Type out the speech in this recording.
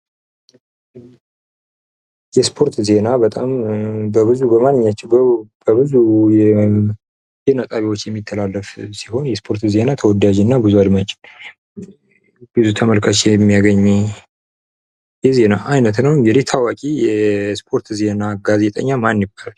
የስፖርት ዜና በጣም በብዙ በማንኛቸውም በብዙ የዜና ጣቢያዎች የሚተላለፍ ሲሆን፤ የስፖርት ዜና ተወዳጅ እና ብዙ አድማጭ ብዙ ተመልካች የሚያገኝ የዜና አይነት ነው። እንግዲህ ታዋቂ የስፖርት ዜና ጋዜጠኛ ማን ይባላል?